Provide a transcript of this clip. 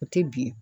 O tɛ bilen